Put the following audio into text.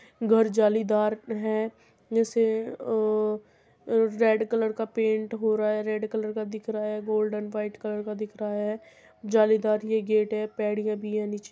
घर जालीदार है जेसे अ रे-रेड कलर का पेंट हो रहा है रेड कलर का दिख रहा है गोल्डन वाइट कलर का दिख रहा है। जालीदार ये गेट है भी हैं निचे --